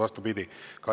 Vastupidi.